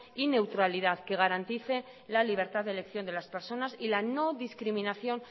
y neutralidad que garantice la libertad de elección de las personas y la no discriminación